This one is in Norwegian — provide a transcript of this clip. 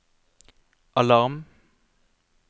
alarm